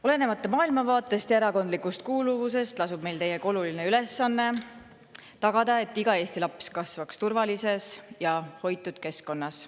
Olenemata maailmavaatest ja erakondlikust kuuluvusest lasub meil teiega oluline ülesanne: tagada, et iga Eesti laps kasvaks turvalises ja hoitud keskkonnas.